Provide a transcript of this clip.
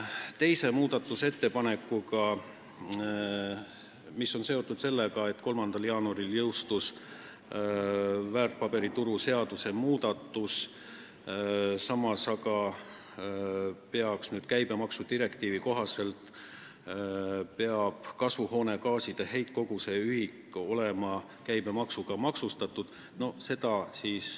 Teine muudatusettepanek on seotud sellega, et 3. jaanuaril jõustus väärtpaberituru seaduse muudatus, samas aga peaks käibemaksudirektiivi kohaselt kasvuhoonegaaside heitkoguse ühik olema nüüd käibemaksuga maksustatud.